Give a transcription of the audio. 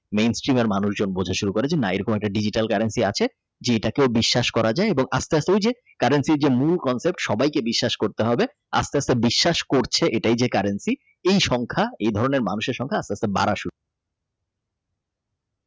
মানুষজন শুরু করে যে না এরকম Diesel currency আছে এটা কেউ বিশ্বাস করা যায় এবং আস্তে আস্তে ওই যে currency যে মূল context সবাইকে বিশ্বাস করতে হবে আস্তে আস্তে বিশ্বাস করছে এটাই যে currency এই সংখ্যা এই ধরনের মানুষের সংখ্যা আস্তে আস্তে বাড়া শুরু করে।